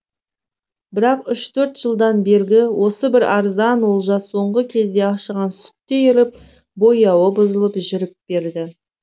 бірақ үш төрт жылдан бергі осы бір арзан олжа соңғы кезде ашыған сүттей іріп бояуы бұзылып жүріп берді